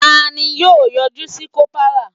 Taani yọ yọjú sí kopara